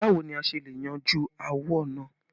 Báwo ni a ṣe le yanjú áwọ̀ náà?